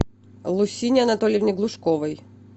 лусине анатольевне глушковой